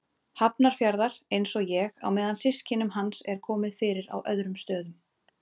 Hafnarfjarðar, einsog ég, á meðan systkinum hans er komið fyrir á öðrum stöðum.